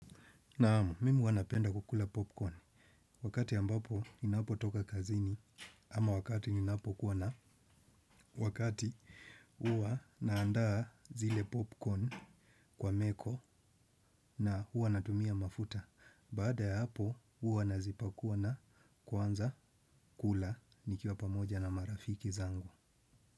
Naam, mimi huwa napenda kukula popcorn. Wakati ambapo ninapo toka kazini, ama wakati ninapo kuwa na wakati uwa naandaa zile popcorn kwa meko na uwa natumia mafuta. Baada ya hapo huwa nazipakuwa na kwanza kula nikiwa pamoja na marafiki zangu.